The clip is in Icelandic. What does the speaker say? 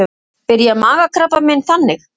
Byrjar magakrabbamein þannig?